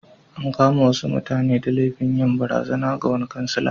An kama wasu mutane da laifin yin barazana ga wani kansila.